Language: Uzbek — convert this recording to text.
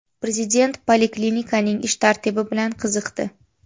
Prezident poliklinikaning ish tartibi bilan qiziqdi.